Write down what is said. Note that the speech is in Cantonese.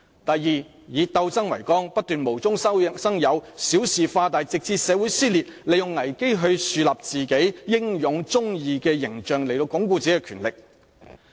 第二，以鬥爭為綱，不斷無中生有，小事化大，直至社會撕裂，利用危機來樹立自己英勇忠義的形象，以鞏固自己的權力。